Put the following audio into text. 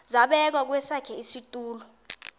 zabekwa kwesakhe isitulo